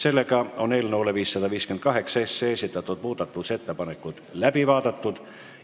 Eelnõu 558 kohta esitatud muudatusettepanekud on läbi vaadatud.